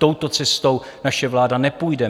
Touto cestou naše vláda nepůjde.